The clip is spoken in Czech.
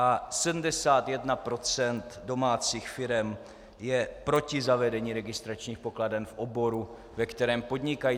A 71 % domácích firem je proti zavedení registračních pokladen v oboru, ve kterém podnikají.